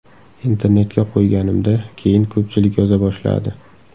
Internetga qo‘yganimda keyin ko‘pchilik yoza boshladi.